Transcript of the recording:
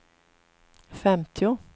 femtio